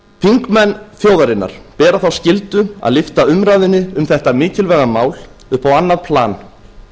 þingmenn þjóðarinnar bera þá skyldu að lyfta umræðunni um þetta mikilvæga mál upp á annað plan